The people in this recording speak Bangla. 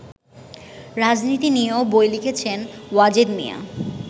রাজনীতি নিয়েও বই লিখেছেন ওয়াজেদ মিয়া।